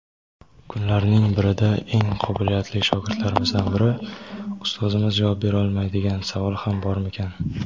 Kunlarning birida eng qobiliyatli shogirdlaridan biri: "Ustozimiz javob berolmaydigan savol ham bormikan?"